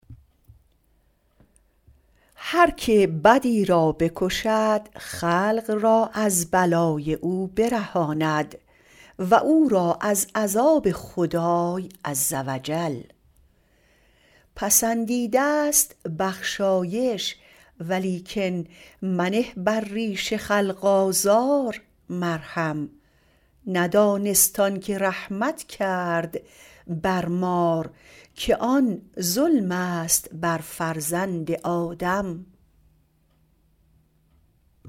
هر که بدی را بکشد خلق را از بلای او برهاند و او را از عذاب خدای عز و جل پسندیده ست بخشایش ولیکن منه بر ریش خلق آزار مرهم ندانست آن که رحمت کرد بر مار که آن ظلم است بر فرزند آدم